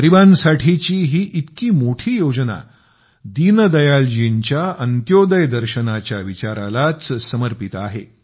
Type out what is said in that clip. गरिबांसाठीची ही इतकी मोठी योजना दीनदयालजींच्या अंत्योदय तत्त्वज्ञानाला समर्पित आहे